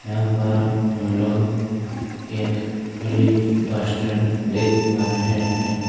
यहाँ पर हम लोग एक खाली बस स्टैंड देख पा रहे है।